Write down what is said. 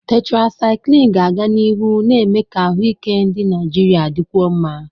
Tetrasyklini ga-aga n'ihu na-eme ka ahụike ndị Naijiria dịkwuo mma.